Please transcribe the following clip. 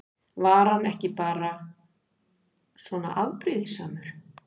Var hann bara svona afbrýðisamur?